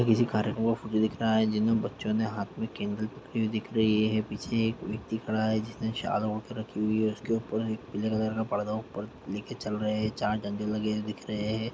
किसी कार्यक्रम का फोटो दिख रहा है जिनमे बच्चो ने हाथ मे कैंडल पकड़ी हुई दिख रही है पीछे एक व्यक्ति खड़ा है जिसने चादर ओढ़ के रखी हुई है उसके ऊपर पीले कलर का पर्दा उपर लेके चल रहे है चार डंडे लगे हुए दिख रहे है।